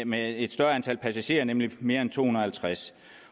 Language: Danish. med et større antal passagerer nemlig mere end to hundrede